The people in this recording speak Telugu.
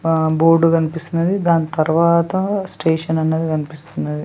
అ బోర్డు కనిపిస్తుంది దాని తర్వాత స్టేషన్ అనది కనిపిస్తున్నది.